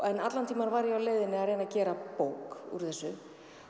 allan tímann var ég á leiðinni að reyna að gera bók úr þessu